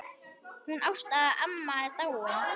Hún Ásta amma er dáin.